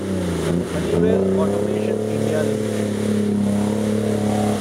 Honeywell automation India limited